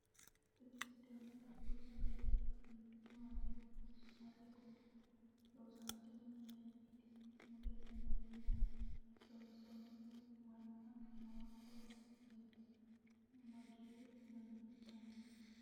tini sidaamu budu sagale labbannoti maati? su'mase kuli? loosantinohu mayeenniiti? mulese noori maati? lonsoonnihu maanna maa horonsi'neeti? mageyi manni itannote?